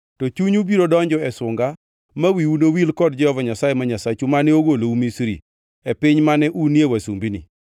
to chunyu biro donjo e sunga ma wiu nowil kod Jehova Nyasaye ma Nyasachu, mane ogolou Misri, e piny mane unie wasumbini.